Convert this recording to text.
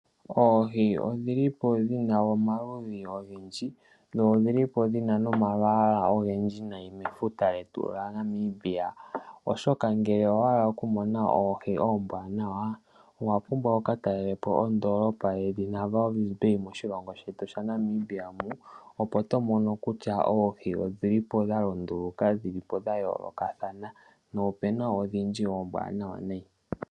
Oohi odhi li po dhina omaludhi ga yoolokathana dho odhili po dhina nomalwaala ogendji oshoka ngele owahala pkutala oohi oombwanawa owa pumbwa oku ka talela po oondolopa yoWalvisbay